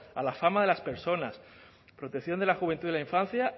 a la fama de las personas protección de la juventud y la infancia